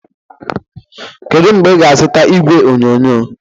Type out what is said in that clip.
Kedu mgbe ị ga-azụta igwe onyonyo?